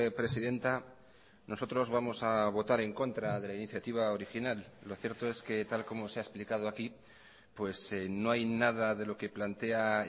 presidenta nosotros vamos a votar en contra de la iniciativa original lo cierto es que tal como se ha explicado aquí no hay nada de lo que plantea